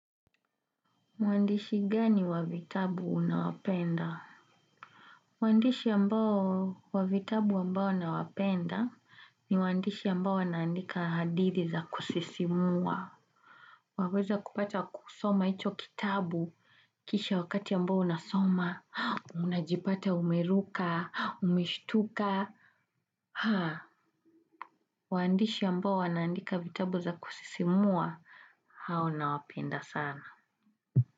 Muandishi gani wa vitabu unawapenda? Waandishi ambao wa vitabu ambao nawapenda ni waandishi ambao wanaandika hadithi za kusisimua. Waweza kupata kusoma hicho kitabu kisha wakati ambao unasoma, unajipata umeruka, umeshtuka. Waandishi ambao wanaandika vitabu za kusisimua, hao nawapenda sana.